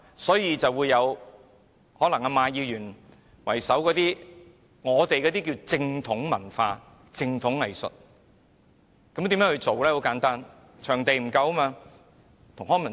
所以，現在便出現以馬議員為首的所謂正統文化、正統藝術，這是如何運作的呢？